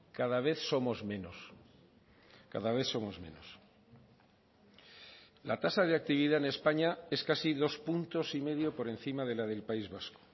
cada vez somos menos cada vez somos menos la tasa de actividad en españa es casi dos puntos y medio por encima de la del país vasco